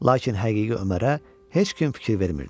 Lakin həqiqi Ömərə heç kim fikir vermirdi.